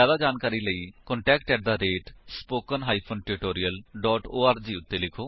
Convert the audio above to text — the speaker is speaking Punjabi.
ਜਿਆਦਾ ਜਾਣਕਾਰੀ ਲਈ ਕੰਟੈਕਟ ਸਪੋਕਨ ਟਿਊਟੋਰੀਅਲ ਓਰਗ ਉੱਤੇ ਲਿਖੋ